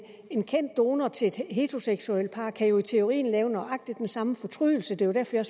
en kendt donor til et heteroseksuelt par kan jo i teorien have nøjagtig den samme fortrydelse det var derfor jeg